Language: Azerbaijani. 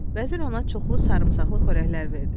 Vəzir ona çoxlu sarımsaqlı xörəklər verdi.